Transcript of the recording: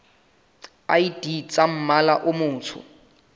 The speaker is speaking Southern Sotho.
id tsa mmala o motsho